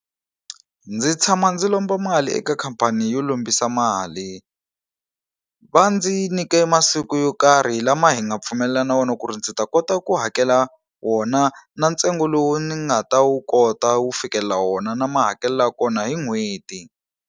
Ndzi tshama ndzi lomba mali eka khampani yo lombisa mali va ndzi nyike masiku yo karhi lama hi nga pfumelelana wona ku ri ndzi ta kota ku hakela wona na ntsengo lowu ni nga ta wu kota wu fikelela wona na ma hakelela kona hi n'hweti.